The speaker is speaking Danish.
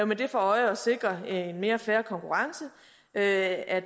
med det for øje at sikre en mere fair konkurrence at at